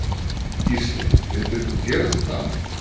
Gísli: Myndir þú gera þetta aftur?